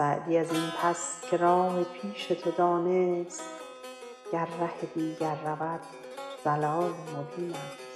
سعدی از این پس که راه پیش تو دانست گر ره دیگر رود ضلال مبین است